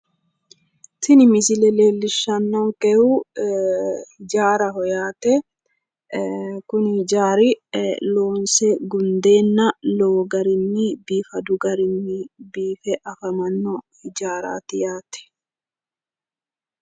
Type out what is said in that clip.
tini misile leellishshannonkehu ijaaraho yaate kuni ijaari loonse gundeenna lowo garinni biifadu garinni biife afamanno ijaaraati yaate.